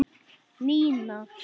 Nína!